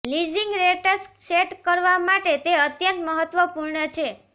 leasing rates set કરવા માટે તે અત્યંત મહત્વપૂર્ણ છે